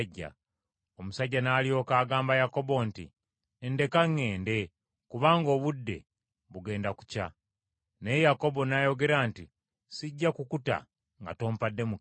Omusajja n’alyoka agamba Yakobo nti, “Ndeka ŋŋende kubanga obudde bugenda kukya.” Naye Yakobo n’ayogera nti, “Sijja kukuta nga tompadde mukisa.”